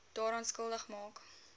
daaraan skuldig maak